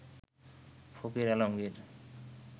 Fakir Alamgir